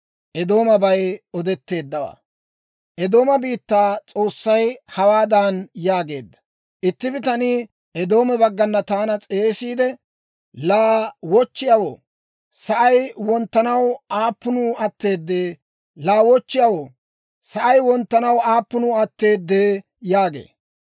Eedooma biittaa S'oossay hawaadan yaageedda; «Itti bitanii Eedooma woy Duuma baggana taana S'eesiide, ‹Laa wochchiyaawoo, sa'ay wonttanaw aappunuu atteedee? Laa wochchiyaawoo, sa'ay wonttanaw aappunuu atteedee?› yaagee.